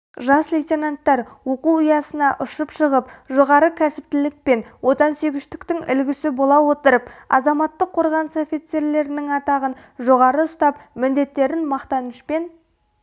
жас лейтенанттар оқу ұясына ұшып шығып жоғары кәсіптілік пен отансүйгіштіктің үлгісі бола отырып азаматтық қорғаныс офицерлерінің атағын жоғары ұстап міндеттерін мақтанышпен